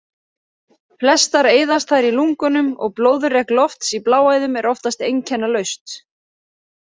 Flestar eyðast þær í lungunum og blóðrek lofts í bláæðum er oftast einkennalaust.